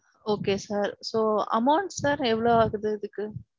Okay sir. So amount sir எவ்வளவு ஆகுது இதுக்கு?